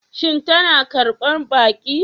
Shin tana karbar baki?